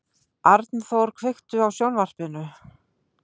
Arnþór, kveiktu á sjónvarpinu.